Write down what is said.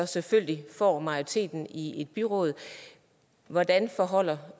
selvfølgelig får majoriteten i et byråd hvordan forholder